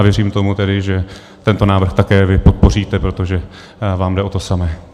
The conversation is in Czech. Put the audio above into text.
A věřím tomu tedy, že tento návrh také vy podpoříte, protože vám jde o to samé.